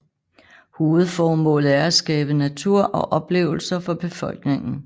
Hovedformålet er at skabe natur og oplevelser for befolkningen